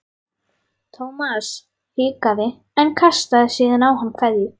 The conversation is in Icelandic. Thomas hikaði en kastaði síðan á hann kveðju.